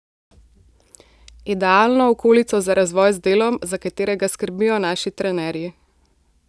Idealno okolico za razvoj z delom, za katerega skrbijo naši trenerji.